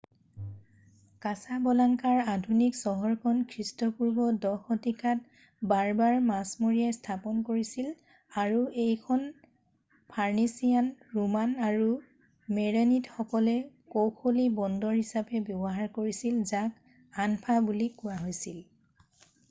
কাছাবলাংকাৰ আধুনিক চহৰখন খ্ৰীষ্টপূৰ্ব 10 শতিকাত বাৰ্বাৰ মাছমৰীয়াই স্থাপন কৰিছিল আৰু এইখন ফনিচিয়ান ৰোমান আৰু মেৰেনিডসকলে কৌশলী বন্দৰ হিচাপে ব্যৱহাৰ কৰিছিল যাক আনফা বুলি কোৱা হৈছিল